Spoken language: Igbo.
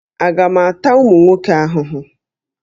Aga m ata ụmụ nwoke ahụhụ?